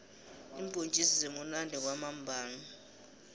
iimbhontjisi zimunandi kwamambhala